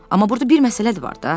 Amma burda bir məsələ də var da.